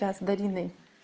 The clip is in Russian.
да с дариной